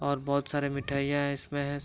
और बहुत सारे मिठाईयां है इसमें --